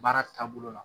Baara taabolo la